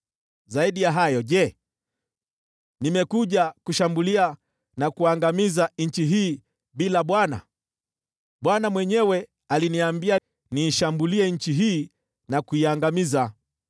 Zaidi ya hayo, je, nimekuja kushambulia na kuangamiza nchi hii bila Bwana ? Bwana mwenyewe ndiye aliniambia niishambulie nchi hii na kuiangamiza.’ ”